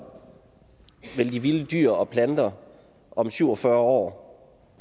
vil de vilde dyr og planter om syv og fyrre år